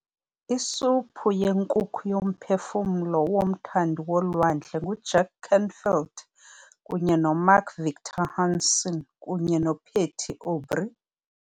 Isuphu yenkukhu yoMphefumlo woMthandi woLwandle nguJack Canfield kunye noMark Victor Hansen kunye noPatty Aubery